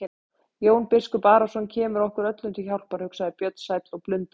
Jón biskup Arason kemur okkur öllum til hjálpar, hugsaði Björn sæll og blundaði.